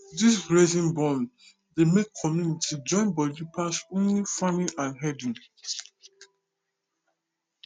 this grazing bond dey make community join body pass only farming and herding